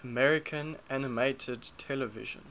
american animated television